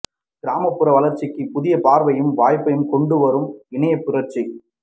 கிராமப்புற வளர்ச்சிக்கு புதிய பார்வையையும் வாய்ப்பையும் கொண்டு வரும் இணையப் புரட்சி